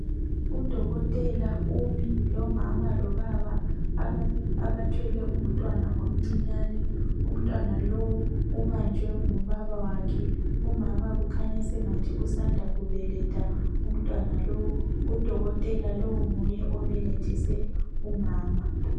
Udokotela umi lomama lobaba abathwele umntwana omncinyane. Umntwana lowu ubanjwe ngubaba wakhe. Umama ukhanya sengathi usanda kubeletha umtwana lowo. Udokotela lowo nguye obelethise umama.